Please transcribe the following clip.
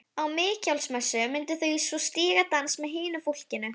Á Mikjálsmessu myndu þau svo stíga dans með hinu fólkinu.